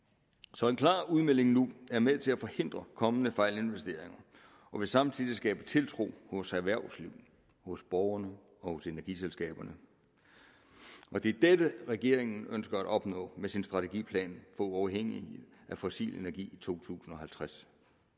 så en klar udmelding nu er med til at forhindre kommende fejlinvesteringer og vil samtidig skabe tiltro hos erhvervslivet hos borgerne og hos energiselskaberne og det er dette regeringen ønsker at opnå med sin strategiplan for uafhængighed af fossil energi i to tusind og halvtreds